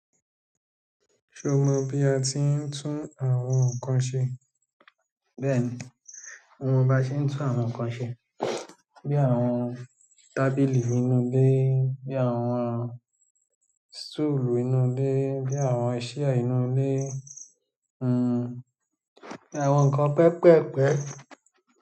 Ṣé o mọ bí a ti ń tún àwọn nǹkan ṣe? Bẹ́ẹ̀ni, mo mọ bá ṣe ń tún àwọn nǹkan ṣe. Bí i àwọn tábìlì inú ilé, bí i àwọn stoolù inú ilé, bí àwọn chair inú ilé, bí i àwọn nǹkan pẹpẹ́pẹ́pẹ́.